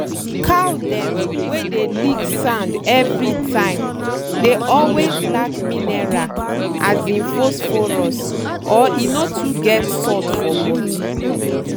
cow dem wey dey lick sand everytime dey always lack miniral as in phosphorus or e no too get salt for body.